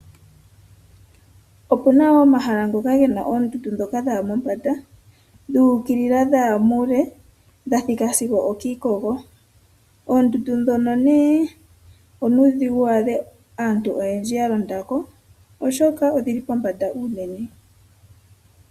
Opuna wo omahala ngoka gena oondundu ndhoka dhaya mombanda, dhu ukilila, dhaya muule, dha thika sigo okiikogo. Oondundu ndhono nee onuudhigu wu adhe aantu oyendji ya londa ko, oshoka odhili pombanda unene.